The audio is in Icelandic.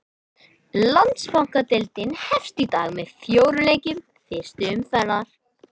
Landsbankadeildin hefst í dag með fjórum leikjum fyrstu umferðar.